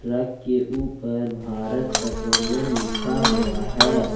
Truck के ऊपर Bharat Petroleum लिखा हुआ है।